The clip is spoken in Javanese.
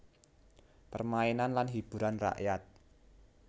Permainan lan hiburan rakyat